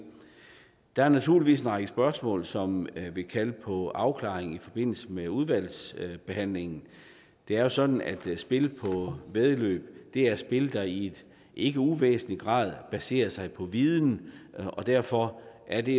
der er naturligvis en række spørgsmål som vil kalde på afklaring i forbindelse med udvalgsbehandlingen det er jo sådan at spil på væddeløb er spil der i ikke uvæsentlig grad baserer sig på viden og derfor er det